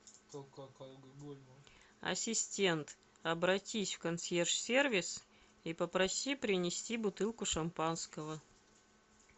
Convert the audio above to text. ассистент обратись в консьерж сервис и попроси принести бутылку шампанского